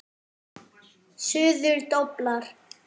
Suður doblar.